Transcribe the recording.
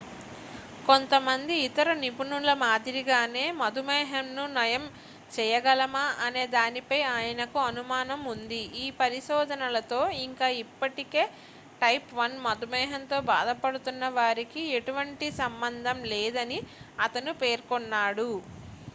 కొంతమంది ఇతర నిపుణుల మాదిరిగానే మధుమేహంను నయం చేయగలమా అనే దానిపై ఆయనకు అనుమానం ఉంది ఈ పరిశోధనలతో ఇంకా ఇప్పటికే టైప్ 1 మధుమేహంతో బాధపడుతున్న వారికీ ఎటువంటి సంబంధం లేదని అతను పేర్కొన్నాడు